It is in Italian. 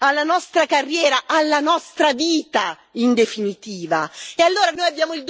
intollerabile alla nostra libera espressione, alla nostra carriera,